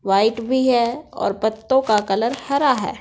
White भी है और पत्तों का कलर हरा है।